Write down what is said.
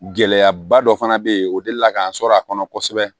Gɛlɛyaba dɔ fana bɛ yen o delila k'an sɔrɔ a kɔnɔ kosɛbɛ